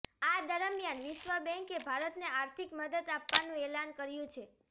આ દરમિયાન વિશ્વ બેંકે ભારતને આર્થિક મદદ આપવાનું એલાન કર્યું છે